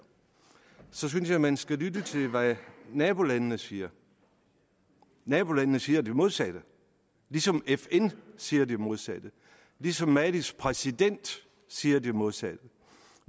så synes jeg man skal lytte til hvad nabolandene siger nabolandene siger det modsatte ligesom fn siger det modsatte ligesom malis præsident siger det modsatte